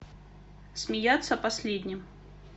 смеяться последним